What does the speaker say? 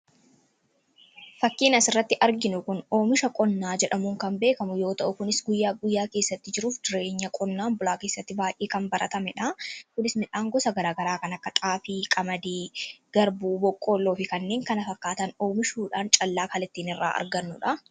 Fakkiin asirratti arginu kun oomisha qonnaa jedhamuun kan beekamu yommuu ta'u, kunis guyyaa guyyaa keessatti jiruu fi jireenya qonnaan bulaa keessatti kan baay'ee baratamedha. Midhaan gosa garaagaraa kan akka xaafii, qamadii , garbuu, boqqoolloo fi kanneen kana fakkaatan oomihuudhaan kan ittiin callaa argannudha.